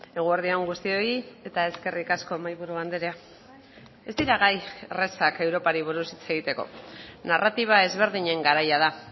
eguerdi on guztioi eta eskerrik asko mahaiburu andrea ez dira gai errazak europari buruz hitz egiteko narratiba ezberdinen garaia da